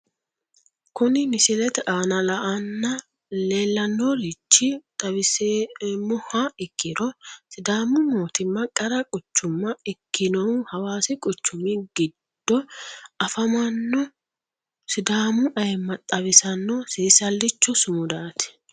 Kuni misilete aana la'anna leelaninoerichi xawiseemoha ikiro sidaamu mootima qara quchuma ikinohu hawaasi quchumi giddo afamanno sidaamu ayma xawisano seesalicho sumudaati